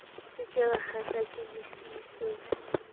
se ke wakgahlwa ke lefiso